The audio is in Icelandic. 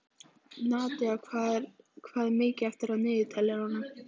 Nadía, hvað er mikið eftir af niðurteljaranum?